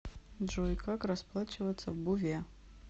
джой как расплачиваться в буве